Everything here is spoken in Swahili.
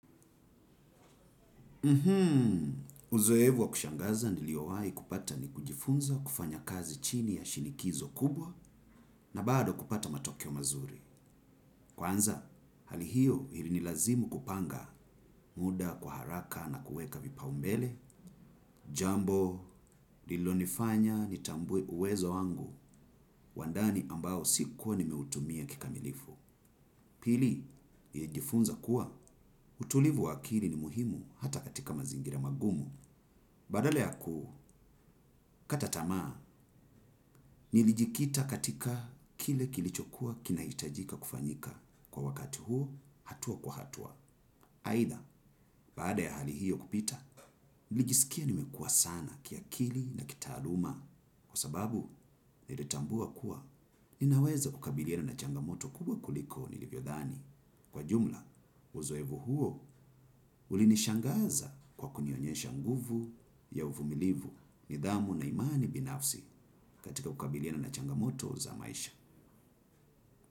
Uzoefu wa kushangaza niliowahi kupata ni kujifunza kufanya kazi chini ya shinikizo kubwa na bado kupata matokeo mazuri. Kwanza, hali hio ilinilazimu kupanga muda kwa haraka na kuweka vipaumbele. Jambo, lililonifanya nitambue uwezo wangu wa ndani ambao sikuwa nimeutumia kikamilifu. Pili, nilijifunza kuwa, utulivu wa akili ni muhimu hata katika mazingira magumu. Badala ya kukata tamaa, nilijikita katika kile kilichokuwa kinahitajika kufanyika. Kwa wakati huo, hatua kwa hatua. Aidha, baada ya hali hiyo kupita, nilijisikia nimekua sana kiakili na kitaaluma. Kwa sababu, nilitambua kuwa, ninaweza kukabiliana na changamoto kubwa kuliko nilivyodhani. Kwa jumla, uzoefu huo ulinishangaza kwa kunionyesha nguvu ya uvumilivu nidhamu na imani binafsi katika kukabiliana na changamoto za maisha.